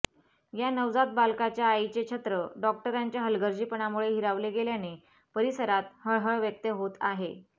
या नवजात बालकाच्या आईचे छत्र डॉक्टरांच्या हलगर्जीपणामुळे हिरावले गेल्याने परिसरात हळहळ व्यक्त होत आहे